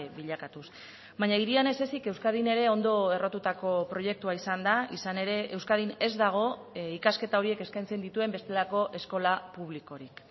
bilakatuz baina hirian ez ezik euskadin ere ondo errotutako proiektua izan da izan ere euskadin ez dago ikasketa horiek eskaintzen dituen bestelako eskola publikorik